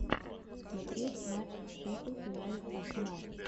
смотреть матч шеффилд юнайтед арсенал